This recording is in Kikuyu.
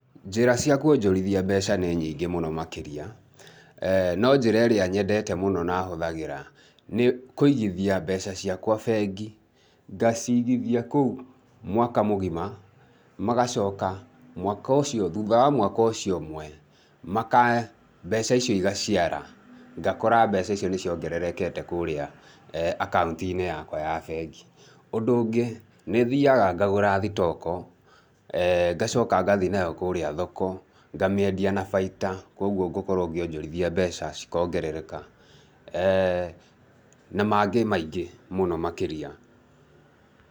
Njĩra cia kwonjorithia mbeca nĩ nyingĩ mũno makĩria, no njĩra ĩrĩa nyendete mũno na hũthagĩra nĩ kũigithia mbeca ciakwa bengi, ngacigithia kũu mwaka mũgima, magacoka mwaka ũcio, thutha wa mwaka ũcio ũmwe, makahe, mbeca icio igaciara, ngakora mbeca icio nĩ ciongererekete kũrĩa akaunti-inĩ yakwa ya bengi, ũndũ ũngĩ, nĩ thiaga ngagũra thitoko ngacoka ngathiĩ nayo kũrĩa thoko, ngamĩendia na baita kwoguo ngũkorwo ngĩonjorithia mbeca, cikongerereka na mangĩ maingĩ mũno makĩria